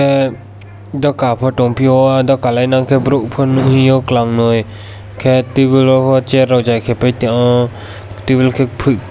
ah doka po tongpio doka le nongke borok pon nohio nongkalang noi khe tebil rokpo chair rok jai pai tong yo tebil ke pui.